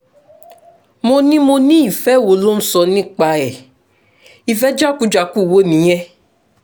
mo ní mo ní ìfẹ́ wo ló ń sọ nípa ẹ̀ ìfẹ́ jákujàku wo nìyẹn